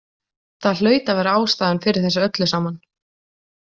Það hlaut að vera ástæðan fyrir þessu öllu saman.